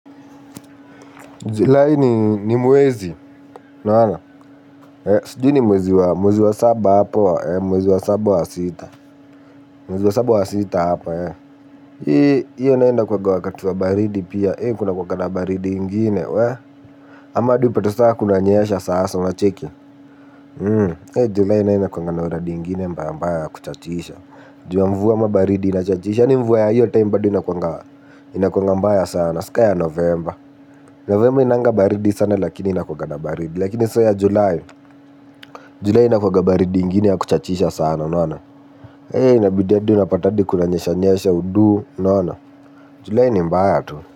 Julai ni mwezi, unaona, sijui ni mwezi wa mwezi wa saba hapo, mwezi wa saba wa sita, mwezi wa saba wa sita hapo, hee, hiyo nayo inakuwaga wakati wa baridi pia, hee, kuna kuwaga na baridi ingine, hee, amahadi upate saa kuna nyesha sasa una cheki, hee, julai nayo inakuwaga na uradi ingine mbaya mbaya ya kuchachisha, juu ya mvua ama baridi inachachisha, hadi mvua ya hiyo time bado inakuwanga mbaya sana, si ka ya novemba, novemba hainanga baridi sana lakini inakuwanga na baridi, lakini sasa ya julai, julai inakuwaga baridi ingine ya kuchachisha sana unaona. Hei inabidi hadi unapata kuna nyesha nyesha udu unaona. Julai ni mbaya tu.